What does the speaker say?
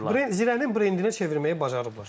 Zirənin brendinə çevirməyi bacarıblar.